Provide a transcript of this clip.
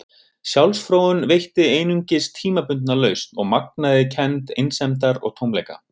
Sjálfsfróun veitti einungis tímabundna lausn og magnaði kennd einsemdar og tómleika.